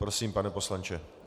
Prosím, pane poslanče.